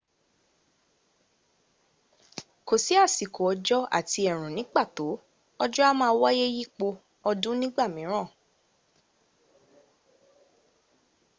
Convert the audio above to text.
kò sí àsìkò òjò” àti ẹ̀rùn” ní pàtó: òjò̀ a máa wáyé yípo ọdún ní ìgbàmìíràn